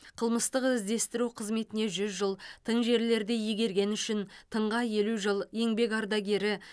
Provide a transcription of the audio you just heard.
қылмыстық іздестіру қызметіне жүз жыл тың жерлерді игергені үшін тыңға елу жыл еңбек ардагері